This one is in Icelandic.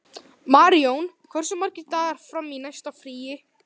Maríon, hversu margir dagar fram að næsta fríi?